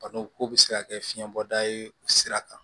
Balo ko be se ka kɛ fiɲɛ bɔda ye o sira kan